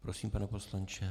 Prosím, pane poslanče.